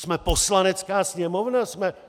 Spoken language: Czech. Jsme Poslanecká sněmovna!